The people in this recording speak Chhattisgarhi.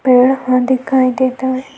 पेड़ ह दिखाई देत हे।